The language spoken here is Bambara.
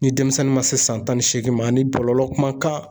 Ni denmisɛnnin ma se san tan ni seegin ma ani bɔlɔlɔ kumakan